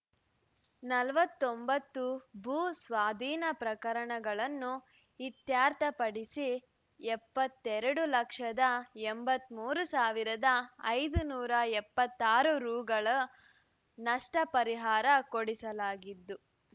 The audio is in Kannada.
ನಲವತ್ತೊಂಬತ್ತು ಭೂ ಸ್ವಾಧೀನ ಪ್ರಕರಣಗಳನ್ನು ಇತ್ಯರ್ಥಪಡಿಸಿ ಎಪ್ಪತ್ತ್ ಎರಡು ಲಕ್ಷದ ಎಂಬತ್ತ್ ಮೂರು ಸಾವಿರದ ಐದುನೂರ ಎಪ್ಪತ್ತಾರು ರೂಗಳ ನಷ್ಟ ಪರಿಹಾರ ಕೊಡಿಸಲಾಗಿದ್ದು